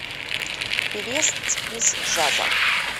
певец из джаза